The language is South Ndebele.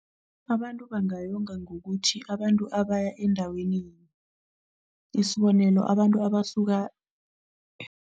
Abantu bangayonga ngokuthi abantu abaya endaweni, isibonelo abantu abasuka.